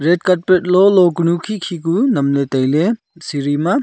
red carpet lo lo kanu khe khe ku nam le tai ley seri ma.